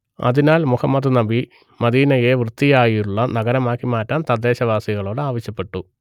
അതിനാൽ മുഹമ്മദ് നബി മദീനയെ വൃത്തിയുള്ള നഗരമാക്കി മാറ്റാൻ തദ്ദേശവാസികളോട് ആവശ്യപ്പെട്ടു